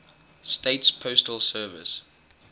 states postal service